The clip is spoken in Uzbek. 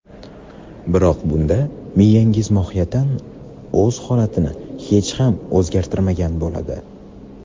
Biroq bunda miyangiz mohiyatan o‘z holatini hech ham o‘zgartirmagan bo‘ladi.